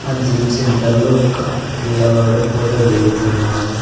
ఆ gym centre లో ఒక పిల్లవాడు ఫోటో దిగుతున్నాడు.